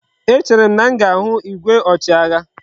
E chere m na m ga igwe ochi agha